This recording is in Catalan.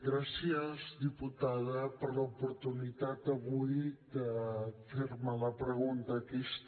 gràcies diputada per l’oportunitat avui de fer me la pregunta aquesta